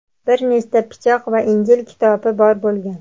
bir nechta pichoq va Injil kitobi bor bo‘lgan.